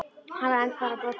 Hann var enn bara á brókinni.